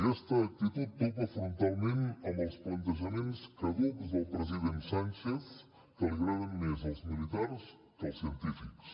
aquesta actitud topa frontalment amb els plantejaments caducs del president sánchez que li agraden més els militars que els científics